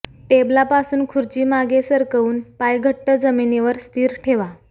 टेबलापासून खुर्ची मागे सरकवून पाय घट्ट जमिनीवर स्थिर ठेवा